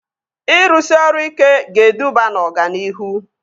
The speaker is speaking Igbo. Ịrụsị ọrụ ike ga-eduba na ọganihu